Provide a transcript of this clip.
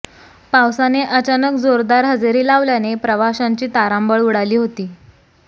पावसाने अचानक जोरदार हजेरी लावल्याने प्रवाशांची तारांबळ उडाली होती